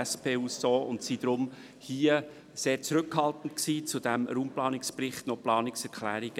Deshalb waren wir mit der Einreichung von Planungserklärungen zu diesem Raumplanungsbericht zurückhaltend.